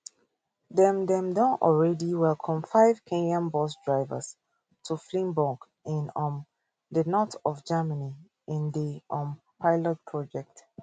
dem dem don already welcome five kenyan bus drivers to flensburg in um di north of germany in di um pilot project